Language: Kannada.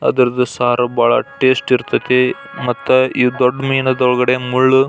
ಅದರದ್ದು ಸಾರು ಭಾಳ ಟೇಸ್ಟ್ ಇರತೈತಿ ಮತ್ತೆ ಈ ದೊಡ್ಡ ಮಿನೊಳಗಡೆ ಮುಳ್ಳು--